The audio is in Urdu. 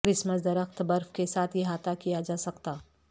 کرسمس درخت برف کے ساتھ احاطہ کیا جا سکتا